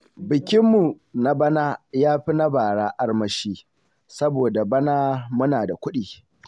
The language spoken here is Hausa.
Bikinmu na bana ya fi na bara armashi. saboda bana muna da kuɗi.